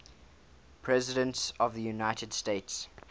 presidents of the united states